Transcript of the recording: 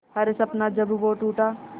हर सपना जब वो टूटा